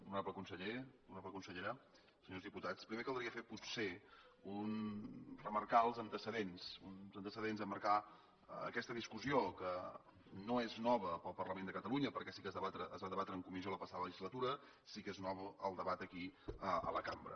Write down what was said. honorable conseller honorable consellera senyors diputats primer caldria potser remarcar els antecedents emmarcar aquesta discussió que no és nova per al parlament de catalunya perquè sí que es va debatre en comissió la passada legislatura sí que és nou el debat aquí a la cambra